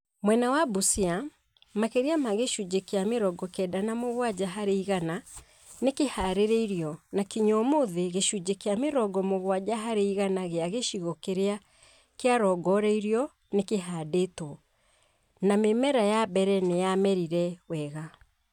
Mwena wa Busia, makĩria ma gĩcunjĩ kĩa mĩrono kenda na mũgwanja harĩ igana nĩ kĩhaarĩirio na kinya ũmũthĩ gĩcunjĩ kĩa mĩrongo mugwanja harĩ igana gĩa gĩcigo kĩrĩa kĩarongoreirio nĩ kĩhaandĩtwo, na mĩmera ya mbere nĩyamerire wega